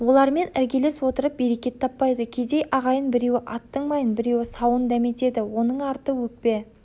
олармен іргелес отырып берекет таппайды кедей ағайын біреуі аттың майын біреуі сауын дәметеді оның арты өкпе